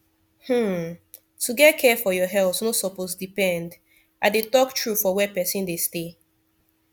hmm to get care for your health no suppose depend i dey talk true for where person dey stay